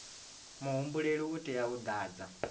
muhumbeli u tea u ḓadza